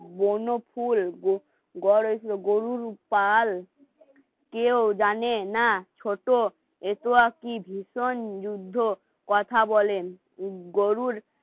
ব্রনফুল, গড় হইছিলো গরুর পাল কেউ জানে না ছোট এ তো আর কি ভীষণ যুদ্ধ কথা বলেন